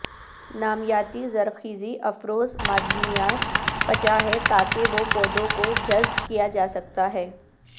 نامیاتی زرخیزی افروز معدنیات پچا ہے تاکہ وہ پودوں کو جذب کیا جا سکتا ہے